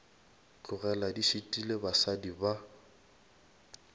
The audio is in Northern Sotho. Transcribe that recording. tlogele di šitile basadi ba